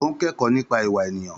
Ó ń kẹ́kọ̀ọ́ nípa ìwà ènìyàn.